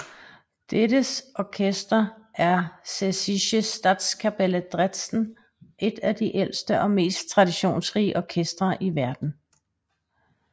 Dets orkester er Sächsische Staatskapelle Dresden et af de ældste og mest traditionsrige orkestre i verden